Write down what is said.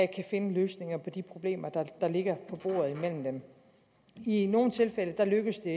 kan finde løsninger på de problemer der ligger på bordet i nogle tilfælde lykkes det